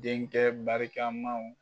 Denkɛ barikamaw